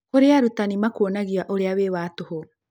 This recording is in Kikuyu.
Kurĩ arutanĩ makuonagia ũrĩa wĩ wa tũhũ